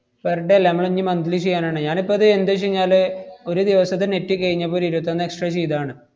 per day അല്ല. മ്മളിഞ്ഞി monthly ചെയ്യാനാണ്. ഞാനിപ്പ അത് എന്താച്ചെഞ്ഞാല്, ഒരു ദിവസത്തെ net കെയിഞ്ഞപ്പോ ഒരു ഇരുവത്തൊന്ന് extra ചെയ്‌താണ്‌.